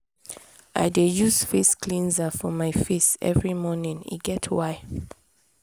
i dey use face cleanser for my face every morning e get why.